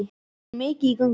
Ég er mikið á göngu í